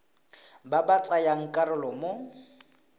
ba ba tsayang karolo mo